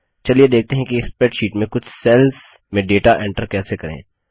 चलिए देखते हैं कि स्प्रैडशीट में कुछ सेल्स में डेटा एंटर कैसे करें